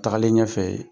Tagalen ɲɛfɛ